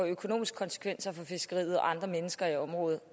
økonomiske konsekvenser for fiskeriet og andre mennesker i området